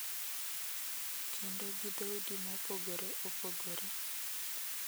Kendo gi dhoudi mopogore opogore.